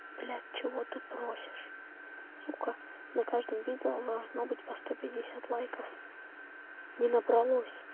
блять чего ты просишь сука на каждом видео должно быть по сто пятьдесят лайков не набралось